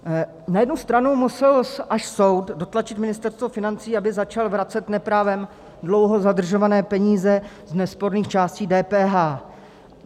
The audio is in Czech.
Na jednu stranu musel až soud dotlačit Ministerstvo financí, aby začalo vracet neprávem dlouho zadržované peníze z nesporných částí DPH.